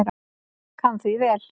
Kann því vel.